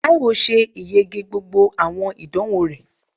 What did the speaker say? Taiwo ṣe ìyege gbógbó awọn idánwo rẹ